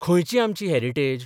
खंयची आमची हॅरिटेज?